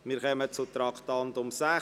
Wir kommen zum Traktandum 60: